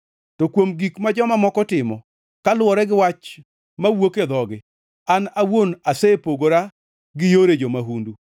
To kuom gik ma joma moko timo, kaluwore gi wach mowuok e dhogi, an awuon asepogora gi yore jo-mahundu.